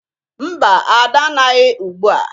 Mba, Ada anaghị ugbua.